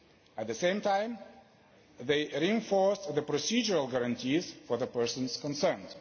At the same time, they reinforced the procedural guarantees for the persons concerned.